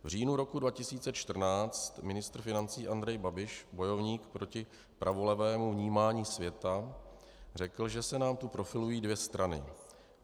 V říjnu roku 2014 ministr financí Andrej Babiš, bojovník proti pravolevému vnímání světa, řekl, že se nám tu profilují dvě strany.